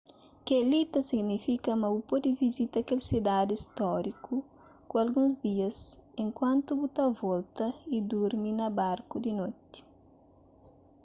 kel-li ta signifika ma bu pode visita kel sidadi stóriku pa alguns dias enkuantu bu ta volta y durmi na barku di noti